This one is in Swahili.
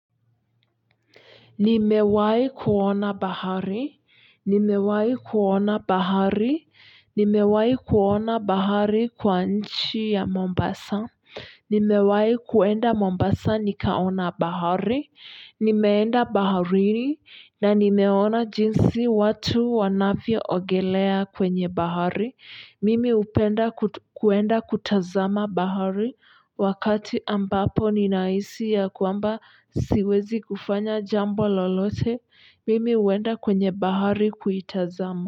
Nimewai kuona bahari, nimewai kuona bahari, nimewai kuona bahari kwa nchi ya Mombasa, nimewai kuenda Mombasa nikaona bahari, nimeenda baharini na nimeona jinsi watu wanavyoogelea kwenye bahari mimi hupenda kuenda kutazama bahari wakati ambapo ninahisi ya kwamba siwezi kufanya jambo lolote mimi huenda kwenye bahari kuitazama.